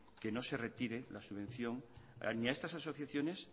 que no se retire la subvención ni a estas asociaciones